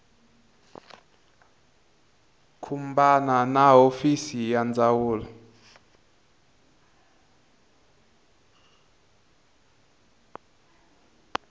khumbana na hofisi ya ndzawulo